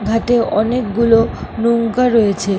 ঘাট এ অনেকগুলো নৌকা রয়েছে ।